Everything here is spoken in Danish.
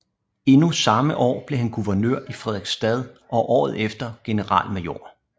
Endnu samme år blev han guvernør i Fredrikstad og året efter generalmajor